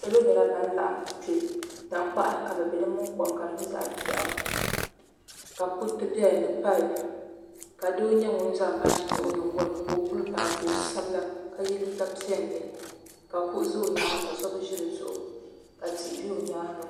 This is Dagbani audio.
Salo nyɛla ban laɣam kpɛ tankpaɣu ni ka bi bɛ di mini kom ka di nyɛ zaɣ biɛɣu ka kuriti bɛ dinni ni paip ka doo nyɛ ŋun zaŋ baaji nyaɣa o nyingoli ni ka o puli bara ka o sabila ka yɛ liiga piɛlli ka kuɣu ʒɛ o nyaanga so bi ʒi di zuɣu ka tihi bɛ o nyaanga